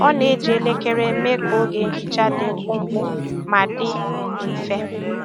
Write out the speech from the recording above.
Ọ na-eji elekere mee ka oge nhicha dị mkpụmkpụ ma dị mfe.